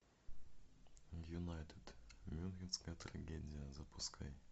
юнайтед мюнхенская трагедия запускай